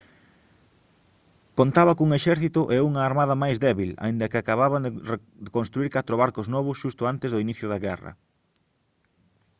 contaba cun exército e unha armada máis débil aínda que acababan de construír catro barcos novos xusto antes do inicio da guerra